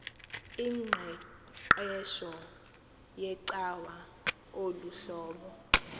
ingqeqesho yecawa luhlobo